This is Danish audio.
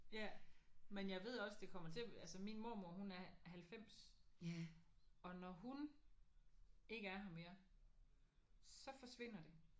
Ja men jeg ved også det kommer til altså min mormor hun er 90 og når hun ikke er her mere så forsvinder det